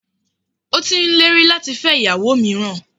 Ó ti n lérí láti fẹ́ ìyàwó míràn